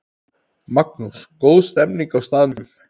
Magnús: Góð stemning á staðnum?